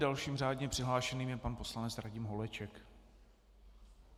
Dalším řádně přihlášeným je pan poslanec Radim Holeček.